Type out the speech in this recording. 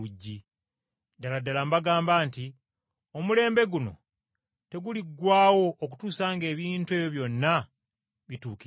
Ddala ddala mbagamba nti, omulembe guno teguliggwaawo okutuusa ng’ebintu ebyo byonna bituukiridde.